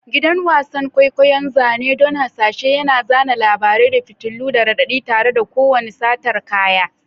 Gidan wasan kwaikwayo, zane don hasashe, yana zana labarai da fitilu da raɗaɗi tare da kowane satar kaya.